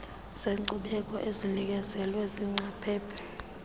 zeenkcubeko ezinikezelwe ziingcaphephe